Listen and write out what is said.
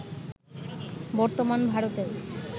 বর্তমান ভারতের